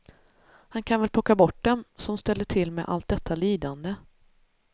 Han kan väl plocka bort dem som ställer till med allt detta lidande.